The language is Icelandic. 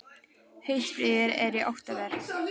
Haustfríið er í október.